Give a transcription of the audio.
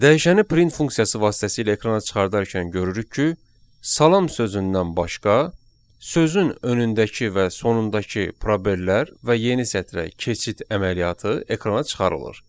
Dəyişəni print funksiyası vasitəsilə ekrana çıxararkən görürük ki, salam sözündən başqa sözün önündəki və sonundakı probelər və yeni sətrə keçid əməliyyatı ekrana çıxarılır.